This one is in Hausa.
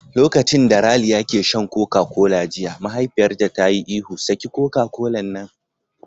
Lokacin da Raliya ke shan Koka kola jiya mahaifiyarta ta yi ihu "Saki Koka kolan nan!"